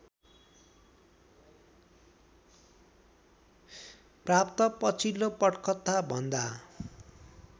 प्राप्त पछिल्लो पटकथाभन्दा